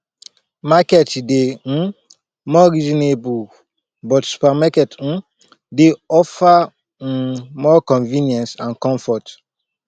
market dey um more reasonable but supermarket um dey offer um more convenience and comfort